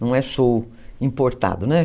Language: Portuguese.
Não é show importado, né?